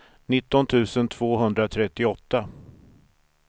nitton tusen tvåhundratrettioåtta